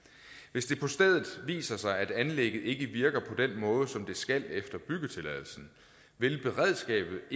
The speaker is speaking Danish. hvis det på stedet viser sig at anlægget ikke virker på den måde som det skal efter byggetilladelsen vil beredskabet